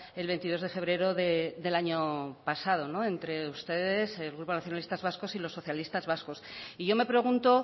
el veintidós de febrero del año pasado entre ustedes el grupo nacionalistas vascos y los socialistas vascos y yo me pregunto